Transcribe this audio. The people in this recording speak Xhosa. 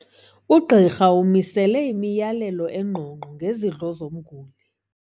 Ugqirha umisele imiyalelo engqongqo ngezidlo zomguli.